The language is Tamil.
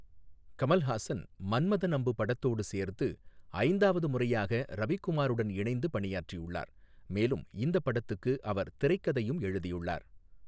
கமல்ஹாசன் மன்மதன் அம்பு படத்தோடு சேர்த்து ஐந்தாவது முறையாக ரவிக்குமாருடன் இணைந்து பணியாற்றியுள்ளார் மேலும் இந்தப் படத்துக்கு அவர் திரைக்கதையும் எழுதியுள்ளார்.